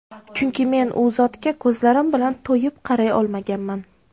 Chunki men U zotga ko‘zlarim bilan to‘yib qaray olmaganman”.